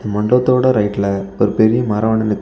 மண்டபத்தோட ரைட்ல ஒரு பெரிய மரம் ஒன்னு நிக்குது.